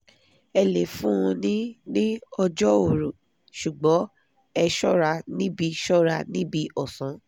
ẹ le fun un ní ní ọjọ́ òru; ṣùgbọ́n ẹ ṣọ́ra níbi ṣọ́ra níbi ọ̀sán